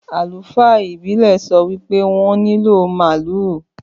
Àlùfáà ìbílè sọ wípé wọn nílò màálù